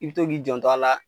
I bɛ to k'i jɔntɔ a la